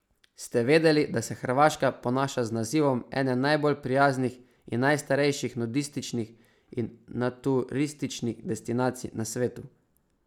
Ste vedeli, da se Hrvaška ponaša z nazivom ene najbolj prijaznih in najstrejših nudističnih in naturističnih destinacij na svetu?